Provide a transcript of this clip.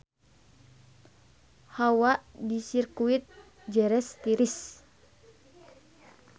Hawa di Sirkuit Jerez tiris